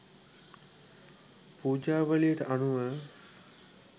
පූජාවලියට අනුව